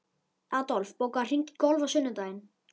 Adolf, bókaðu hring í golf á sunnudaginn.